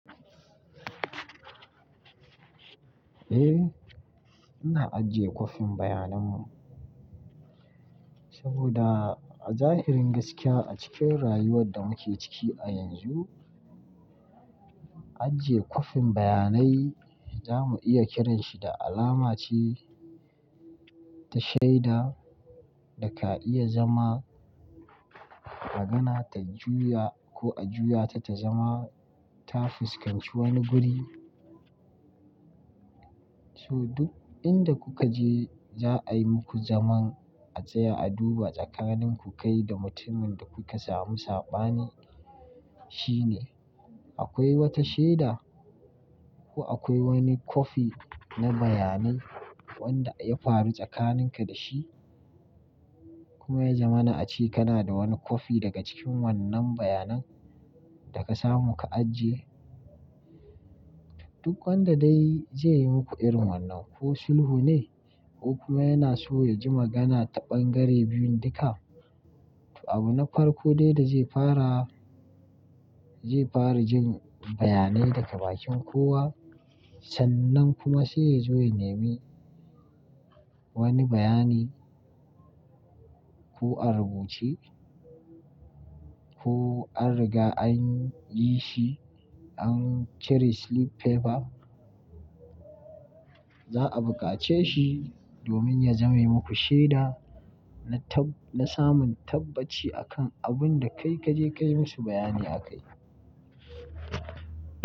Eh, ina ajiye kwafin bayanan mu saboda a zahirin gaskiya a cikin rayuwar da muke ciki a yanzu, ajiye kwafin bayanai za mu iya kiranshi da alama ce ta shaida da ka iya zama magana ta juya ko a juya ta, ta zama ta fuskanci wani guri. So duk inda kuka je za a yi muku zaman a tsaya a duba tsakanin ku kai da mutumin da kuka samu saɓani shine. Akwai wata shaida ko akwai wani kwafi na bayanai wanda ya faru tsakaninka da shi kuma ya zama na a ci kana da wani kwafi daga cikin wannan bayanan da ka samu ka ajiye. Duk wanda dai zai yi muku irin wannan ko sulhu ne ko kuma yana so ya ji magana ta ɓangare biyun duka. To abu na farko dai da zai fara zai fara jin bayanai daga bakin kowa sannan kuma sai ya zo ya nemi wani bayani ko a rubuce ko an riga an yi shi an cire sleep paper. Za'a bukace shi domin ya zame muku shaida na samun tabbaci akan abun da kai kaje kai musu bayani aka yi.